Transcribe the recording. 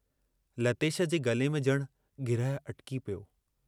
लतेश जे गले में जणु गिरहु अटिकी पियो।